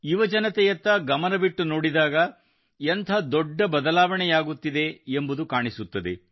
ಯುವಜನತೆಯತ್ತ ಗಮನವಿಟ್ಟು ನೋಡಿದಾಗ ಎಂಥ ದೊಡ್ಡ ಬದಲಾವಣೆಯಾಗುತ್ತಿದೆ ಎಂಬುದು ಕಾಣಿಸುತ್ತದೆ